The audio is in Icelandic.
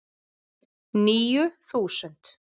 Níu þúsund